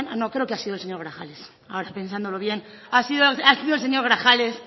no creo que ha sido el señor grajales ahora pensándolo bien ha sido el señor grajales